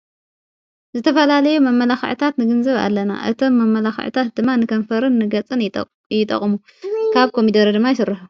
ዝተፈላለዮ መመላኽዕታት ንግንዝብ ኣለና እቶም መመላኽዕታት ድማን ንከንፈርን ንገጽን ይጠቕሙ ካብ ኮሚደረ ድማ ይሠርሑ።